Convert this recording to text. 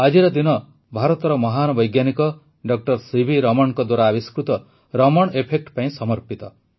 ଆଜିର ଦିନ ଭାରତର ମହାନ ବୈଜ୍ଞାନିକ ଡକ୍ଟର ସିଭି ରମଣଙ୍କ ଦ୍ୱାରା ଆବିଷ୍କୃତ ରମଣ୍ ଏଫେକ୍ଟ ପାଇଁ ସମର୍ପିତ